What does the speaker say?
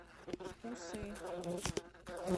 усы